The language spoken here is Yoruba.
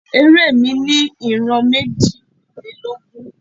Eré mi ní ìran méjìlélógún.